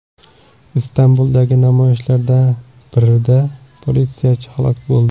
Istanbuldagi namoyishlarda bir politsiyachi halok bo‘ldi.